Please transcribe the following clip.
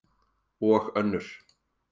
Og önnur.